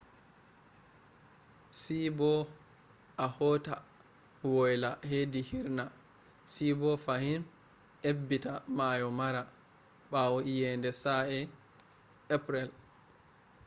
see bo a hota woyla hedi hirrna se bo fahim ebbita mayo mara bawo iyeende sa'e april